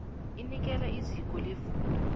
enikelwa iziko lefundo